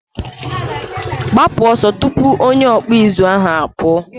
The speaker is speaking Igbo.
gbapu oso tupu onye ọkpụ ụzụ ahụ apuo!